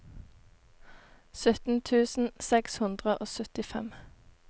sytten tusen seks hundre og syttifem